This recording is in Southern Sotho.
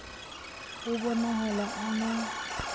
ho bo nahala a na